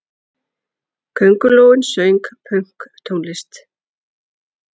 Köngulóin söng pönktónlist!